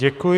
Děkuji.